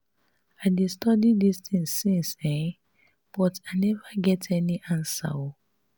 i dey study dis thing since um but i never get answer um